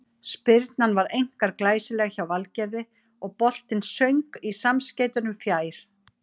Spyrnan var einkar glæsileg hjá Valgerði og boltinn söng í samskeytunum fjær.